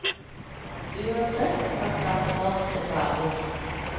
Uansett, han satser en hvalbiff.